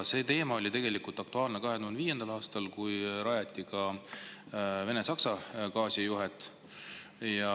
See teema oli aktuaalne 2005. aastal, kui rajati ka Vene‑Saksa gaasijuhet.